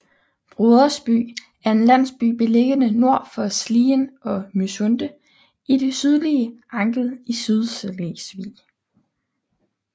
Brodersby er en landsby beliggende nord for Slien og Mysunde i det sydlige Angel i Sydslesvig